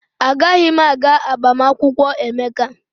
Agaghị m aga agbamakwụkwọ Emeka.